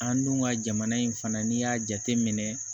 An dun ka jamana in fana n'i y'a jateminɛ